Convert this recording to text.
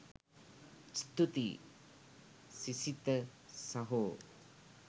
ස්තුතියි සිසිත සහෝ